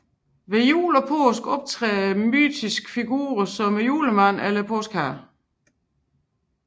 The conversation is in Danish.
Ved jul og påske optræder mytiske figurer som Julemanden eller Påskeharen